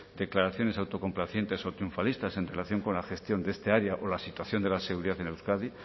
declaraciones autocomplacientes o triunfalistas en relación con la gestión de esta área o la situación de la seguridad en euskadi